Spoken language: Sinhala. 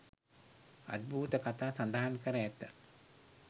අද්භූත කතා සඳහන් කර ඇත